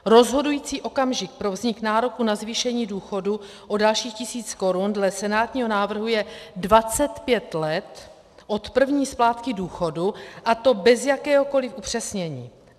Rozhodující okamžik pro vznik nároku na zvýšení důchodu o dalších tisíc korun dle senátního návrhu je 25 let od první splátky důchodu, a to bez jakéhokoli upřesnění.